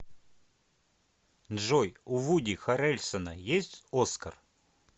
джой у вуди харрельсона есть оскар